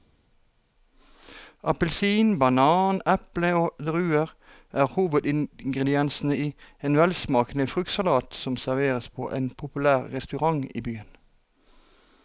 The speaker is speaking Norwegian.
Appelsin, banan, eple og druer er hovedingredienser i en velsmakende fruktsalat som serveres på en populær restaurant i byen.